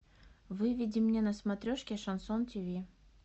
выведи мне на смотрешке шансон тв